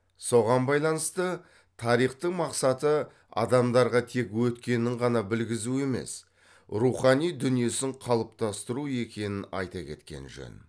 соған байланысты тарихтың мақсаты адамдарға тек өткенін ғана білгізу емес рухани дүниесін қалыптастыру екенін айта кеткен жөн